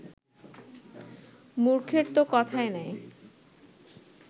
মূর্খের ত কথাই নাই